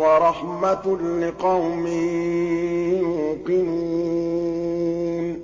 وَرَحْمَةٌ لِّقَوْمٍ يُوقِنُونَ